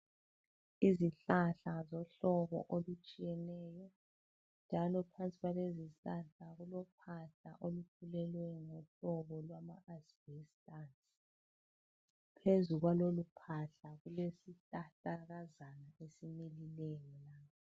Izihlahla zohlobo olutshiyeneyo njalo phansi kwalezi zihlahla kulophahla olufulelweyo ngohlobo lwama asibhestasi, phezulu kwaloluphahla kulesihlahlakazana esimilileyo.